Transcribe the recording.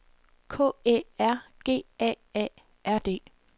K Æ R G A A R D